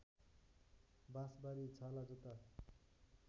बाँसबारी छालाजुत्ता